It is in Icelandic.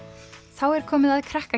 þá er komið að krakka